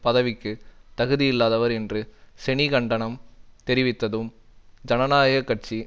பதவிக்கு தகுதியில்லாதவர் என்று செனி கண்டனம் தெரிவித்ததும் ஜனநாயக கட்சி